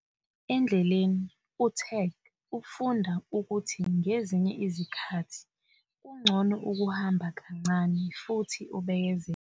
Endleleni, u-Tag ufunda ukuthi ngezinye izikhathi kungcono ukuhamba kancane futhi ubekezele.